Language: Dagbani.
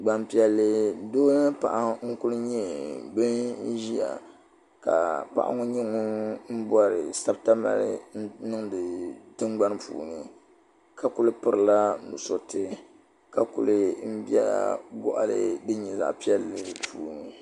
Gbanpiɛli doo mini paɣa n ku nyɛ bin ʒiya ka paɣa ŋɔ nyɛ ŋun bɔri sabita mali n niŋdi tingbani puuni ka ku pirila nusuriti ka kuli biɛla goɣali din nyɛ zaɣ piɛlli puuni